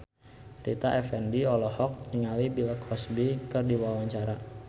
Rita Effendy olohok ningali Bill Cosby keur diwawancara